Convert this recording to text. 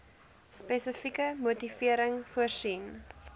spesifieke motivering voorsien